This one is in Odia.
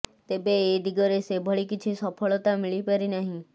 ତେବେ ଏ ଦିଗରେ ସେଭଳି କିଛି ସଫଳତା ମିଳି ପାରି ନାହିଁ